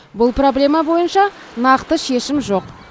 бұл проблема бойынша нақты шешім жоқ